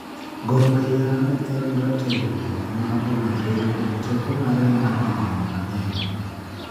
Gor mahia ne en ratego am ongere kuom teko mare mar higni mangeny